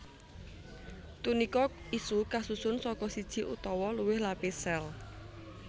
Tunika iku kasusun saka siji utawa luwih lapis sél